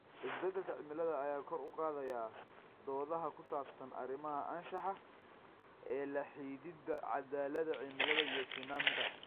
Isbeddelka cimilada ayaa kor u qaadaya doodaha ku saabsan arrimaha anshaxa ee la xidhiidha caddaaladda cimilada iyo sinnaanta.